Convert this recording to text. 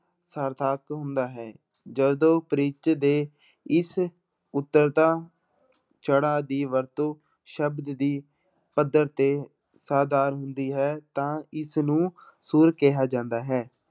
ਸਾਰਥਕ ਹੁੰਦਾ ਹੈ ਜਦੋਂ ਪਿੱਚ ਦੇ ਇਸ ਉੱਤਰਦਾ ਚੜਾਅ ਦੀ ਵਰਤੋਂ ਸ਼ਬਦ ਦੀ ਪੱਧਰ ਤੇ ਹੁੰਦੀ ਹੈ ਤਾਂ ਇਸਨੂੰ ਸੁਰ ਕਿਹਾ ਜਾਂਦਾ ਹੈ।